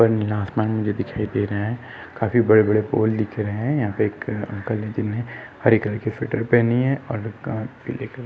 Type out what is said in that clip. उपर नीला आसमान मुझे दिखाई दे रहा है काफी बड़े बड़े पोल दिख रहे है यहाँ पे एक अंकल है जिहोने हरे कलर की स्वेटर पहनी है और अ--